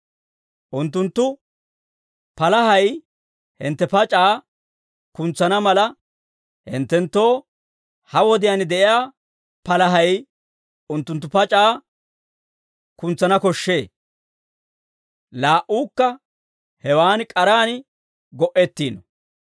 Unttunttu palahay hintte pac'aa kuntsana mala, hinttenttoo ha wodiyaan de'iyaa palahay unttunttu pac'aa kuntsana koshshee; laa"uukka hewan k'araan go"ettiino.